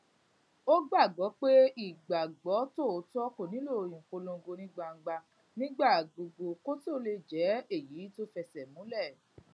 ó gbàgbó pé ìgbàgbó tòótó kò nílò ìpolongo ní gbangba nígbà gbogbo kó tó lè jé èyí tó fésèmúlẹ